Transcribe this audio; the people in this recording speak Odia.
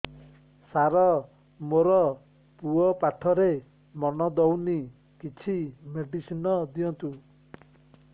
ସାର ମୋର ପୁଅ ପାଠରେ ମନ ଦଉନି କିଛି ମେଡିସିନ ଦିଅନ୍ତୁ